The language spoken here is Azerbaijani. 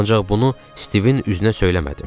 Ancaq bunu Stivin üzünə söyləmədim.